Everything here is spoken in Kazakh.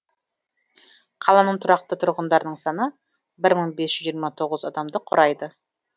қаланың тұрақты тұрғындарының саны бір мың бес жүз жиырма тоғыз адамды құрайды